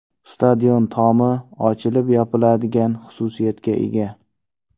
Stadion tomi ochilib-yopiladigan xususiyatga ega.